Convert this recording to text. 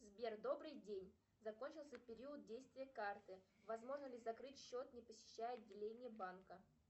сбер добрый день закончился период действия карты возможно ли закрыть счет не посещая отделение банка